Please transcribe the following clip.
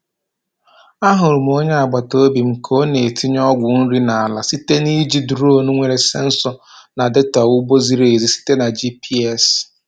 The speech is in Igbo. A hụrụ m onye agbata obi m ka ọ na-etinye ọgwụ nri n’ala site na iji duronu nwere sensọ na data ugbo ziri ezi site na GPS.